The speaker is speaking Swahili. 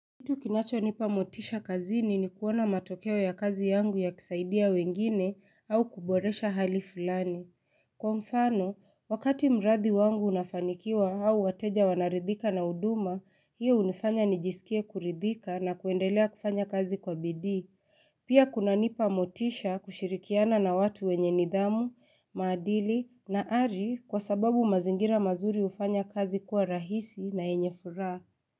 Kitu kinachonipa motisha kazini ni kuona matokeo ya kazi yangu yakisaidia wengine au kuboresha hali fulani. Kwa mfano, wakati mradi wangu unafanikiwa au wateja wanaridhika na huduma, hiyo hunifanya nijisikie kuridhika na kuendelea kufanya kazi kwa bidii. Pia kuna nipa motisha kushirikiana na watu wenye nidhamu, maadili na ari kwa sababu mazingira mazuri hufanya kazi kuwa rahisi na yenye furaha.